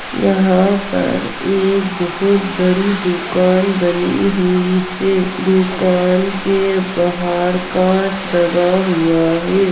यहाँ पर एक बहोत बड़ी दुकान बनी हुई है दुकान के बहार कांच लगा हुआ हे।